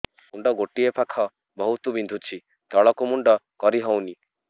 ମୁଣ୍ଡ ଗୋଟିଏ ପାଖ ବହୁତୁ ବିନ୍ଧୁଛି ତଳକୁ ମୁଣ୍ଡ କରି ହଉନି